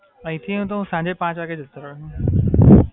અહીથી હું તો સાંજે પાંચ વાગે જતો રઉ.